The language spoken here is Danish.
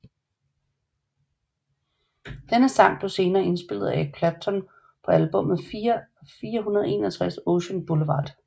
Denne sang blev senere indspillet af Eric Clapton på albummet 461 Ocean Boulevard